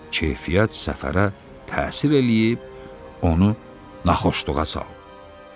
Keyfiyyət səfərə təsir eləyib onu naxoşluğa salıb.